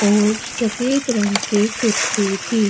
और सफेद रंग के कुर्ते भी --